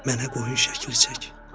Mənə qoyun şəkli çək.